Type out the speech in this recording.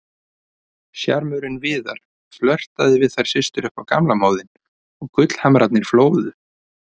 Sjarmörinn Viðar, flörtaði við þær systur upp á gamla móðinn og gullhamrarnir flóðu.